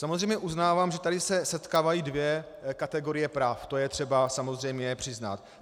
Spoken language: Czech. Samozřejmě uznávám, že tady se setkávají dvě kategorie práv, to je třeba samozřejmě přiznat.